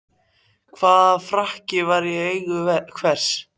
Hvaða frakki var í eigu hvers?